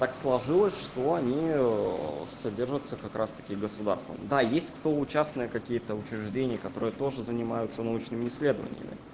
так сложилось что они содержатся как раз-таки государства да есть кто учасные какие-то учреждений которые тоже занимаются научными исследованиями